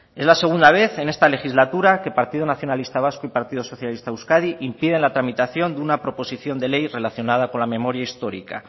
es la segunda vez en esta legislatura que partido nacionalista vasco y partido socialista de euskadi impiden la tramitación de una proposición de ley relacionada con la memoria histórica